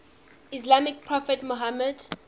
islamic prophet muhammad